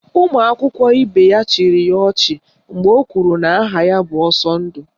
Ụmụ akwụkwọ ibe ya chịrị ya ọchị mgbe o kwuru na aha ya bụ Ọsọndụ